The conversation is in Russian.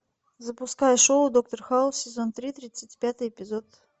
запускай шоу доктор хаус сезон три тридцать пятый эпизод